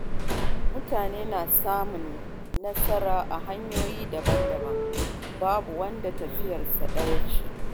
Mutane na samun nasara a hanyoyi daban-daban, babu wanda tafiyarsa ɗaya ce.